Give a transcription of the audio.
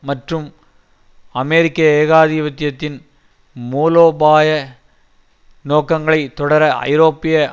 மற்றும் அமெரிக்க ஏகாதிபத்தியத்தின் மூலோபாய நோக்கங்களைத் தொடர ஐரோப்பிய